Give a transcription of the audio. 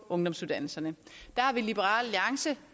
ungdomsuddannelserne der har vi i liberal alliance